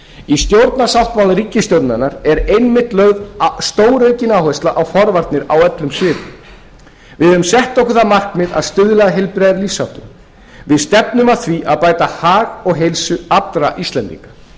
í stjórnarsáttmála ríkisstjórnarinnar er einmitt lögð stóraukin áhersla á forvarnir á öllum sviðum við höfum sett okkur það markmið að stuðla að heilbrigðari lífsháttum við stefnum að því að bæta hag og heilsu allra íslendinga